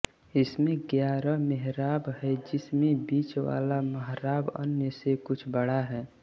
इसमें ग्यारह मेहराब हैं जिसमें बीच वाला महराब अन्य से कुछ बड़ा है